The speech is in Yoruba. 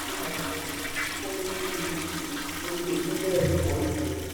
ó sọ pé nàìjíríà gbọ́dọ̀ sí àwọn ohun ìní kò nìyí láti dàgbàsókè bí bẹ́ẹ̀ kọ́ ìṣòro.